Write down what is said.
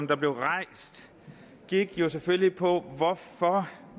der blev rejst gik jo selvfølgelig på